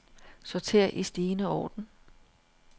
Sorter i stigende orden.